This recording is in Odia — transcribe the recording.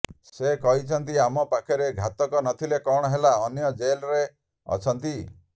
ସେ କହିଛନ୍ତି ଆମ ପାଖରେ ଘାତକ ନଥିଲେ କଣ ହେଲା ଅନ୍ୟ ଜେଲ୍ରେ ଅଛନ୍ତି